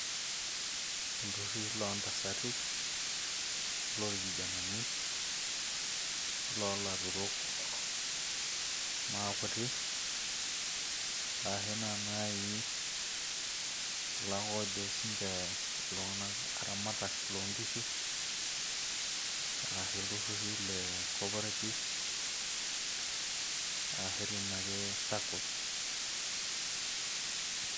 iltururi loo ntasati oloorkijenani, oloolaturok maakuti, ashu kulo ake ojo sii ninche iltung'anak aramatak loo nkishu. ilturri le corporatives ashu dii ninye Sacco's.